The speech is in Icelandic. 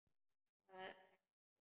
Það vex fljótt.